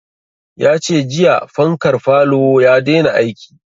Ya ce jiya fankar falo ya daina aiki